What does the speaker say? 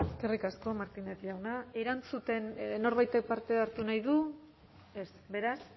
eskerrik asko martínez jauna erantzuten norbaitek parte harte nahi du ez beraz